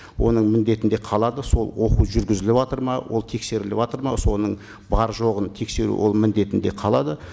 оның міндетінде қалады сол оқу жүргізіліватыр ма ол тексеріліватыр ма соның бар жоғын тексеру оның міндетінде қалады